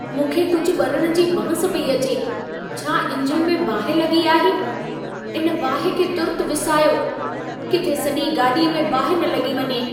मूंखे कुझु ॿरण जी बांस पई अचे। छा ईंजण में बाहि लॻी आहे? इन ॿाहि खे तुर्तु विसायो, किथे सॼी गाॾीअ में बाहि न लॻी वञे।